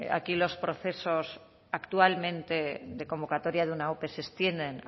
aquí los procesos actualmente de convocatoria de una ope se extienden